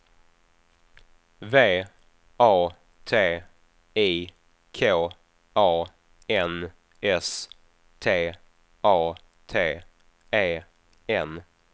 V A T I K A N S T A T E N